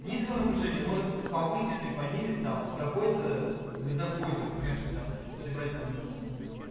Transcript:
низкое напряжение может повысить или понизить там с такой-то до такой-то понимаешь то есть там если брать к примеру там